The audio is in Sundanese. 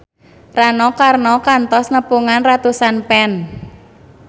Rano Karno kantos nepungan ratusan fans